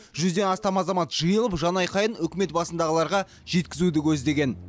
жүзден астам азамат жиылып жанайқайын үкімет басындағыларға жеткізуді көздеген